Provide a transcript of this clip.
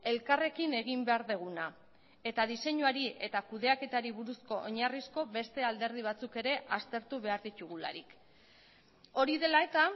elkarrekin egin behar duguna eta diseinuari eta kudeaketari buruzko oinarrizko beste alderdi batzuk ere aztertu behar ditugularik hori dela eta